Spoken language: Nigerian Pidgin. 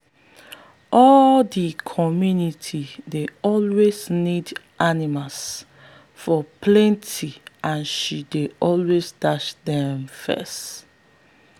all the community dey always need animals for party and she dey always dash them first.